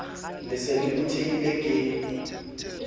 le se le phuthehile ke